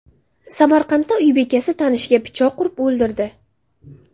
Samarqandda uy bekasi tanishiga pichoq urib o‘ldirdi.